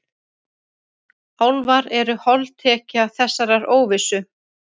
Álfar eru holdtekja þessarar óvissu.